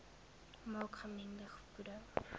maak gemengde voeding